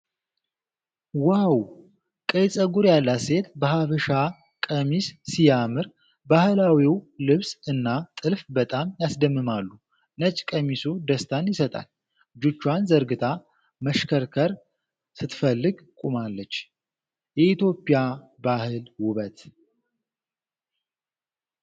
ዋው! ቀይ ፀጉር ያላት ሴት በሀበሻ ቀሚስ ሲያምር ! ባህላዊው ልብስ እና ጥልፍ በጣም ያስደምማሉ ። ነጭ ቀሚሱ ደስታን ይሰጣል ። እጆቿን ዘርግታ መሽከርከር ስትፈልግ ቁማለች ። የኢትዮጵያ ባህል ውበት!